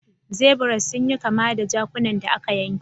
Zebras sun yi kama da jakunan da aka yanke.